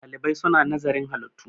ɗalibai suna nazarin halittu